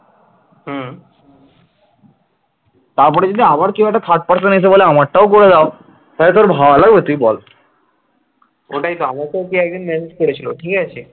ওটাই তো আমাকে ওকে একজন message করেছিল ঠিক আছে